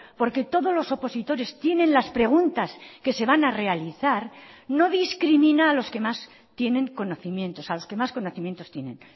porque todos los opositores tienen las preguntas que se van a realizar no discrimina a los que más tienen conocimientos a los que más conocimientos tienen